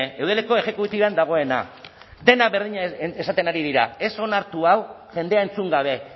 eudeleko exekutiban dagoena denak berdina esaten ari dira ez onartu hau jendea entzun gabe